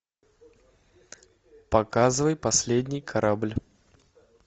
показывай последний корабль